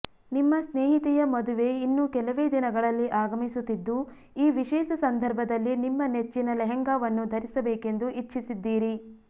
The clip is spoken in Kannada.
ನಿಮ್ಮ ಸ್ನೇಹಿತೆಯ ಮದುವೆ ಇನ್ನು ಕೆಲವೇ ದಿನಗಳಲ್ಲಿ ಆಗಮಿಸುತ್ತಿದ್ದು ಈ ವಿಶೇಷ ಸಂದರ್ಭದಲ್ಲಿ ನಿಮ್ಮ ನೆಚ್ಚಿನ ಲೆಹೆಂಗಾವನ್ನು ಧರಿಸಬೇಕೆಂದು ಇಚ್ಛಿಸಿದ್ದೀರಿ